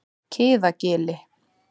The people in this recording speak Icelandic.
Kiðagili